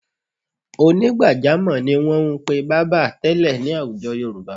Onígbàjámọ̀ ni wọn ń pe bábà tẹ́lẹ̀ ní àwùjọ Yorùbá.